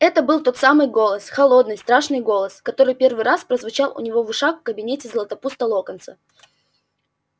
это был тот самый голос холодный страшный голос который первый раз прозвучал у него в ушах в кабинете златопуста локонса